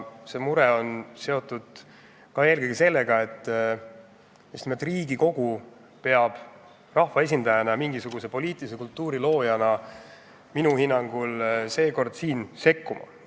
See mure on seotud eelkõige sellega, et just nimelt Riigikogu peab rahva esindajana mingisuguse poliitilise kultuuri loojana minu hinnangul seekord sekkuma.